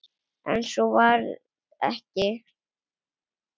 En svo varð ekki.